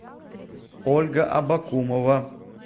ольга абакумова